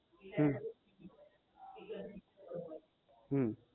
હમ હમ